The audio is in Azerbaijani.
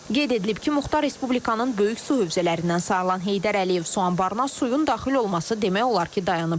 Qeyd edilib ki, Muxtar Respublikanın böyük su hövzələrindən sayılan Heydər Əliyev su anbarına suyun daxil olması demək olar ki, dayanıb.